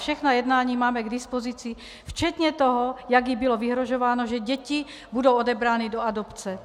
Všechna jednání máme k dispozici, včetně toho, jak jí bylo vyhrožováno, že děti budou odebrány do adopce.